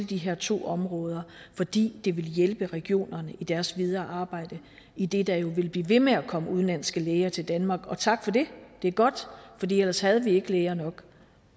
de her to områder fordi det vil hjælpe regionerne i deres videre arbejde idet der jo vil blive ved med at komme udenlandske læger til danmark og tak for det det er godt ellers havde vi ikke læger nok